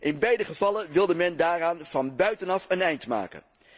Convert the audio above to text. In beide gevallen wilde men daaraan van buitenaf een einde maken.